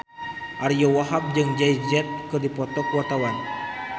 Ariyo Wahab jeung Jay Z keur dipoto ku wartawan